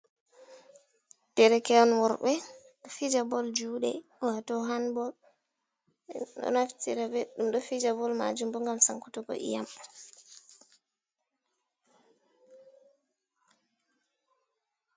Derke’en worɓɓe ɗo fija bol juɗe wato han bol ɗo naftira be ɗum ɗo fija bol majum bo ngam sankutugo iyam.